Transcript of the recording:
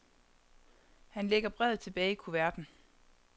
Han lægger brevet tilbage i kuverten.